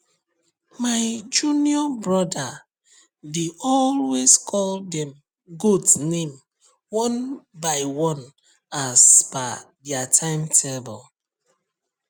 my junior brother dey always call dem goat name one by one as per dia timetable